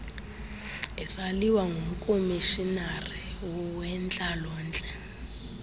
isaliwa ngumkomishinari wentlalontle